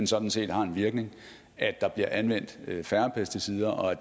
sådan set har en virkning at der bliver anvendt færre pesticider og at